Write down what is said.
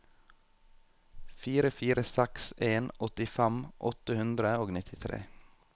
fire fire seks en åttifem åtte hundre og nittitre